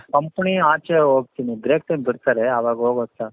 company ಆಚೆ ಹೋಗ್ತೀನಿ break ಬಿಡ್ತಾರೆ ಆವಾಗ ಹೋಗೋದು ಸ